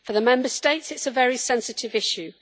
For the Member States it is a very sensitive issue.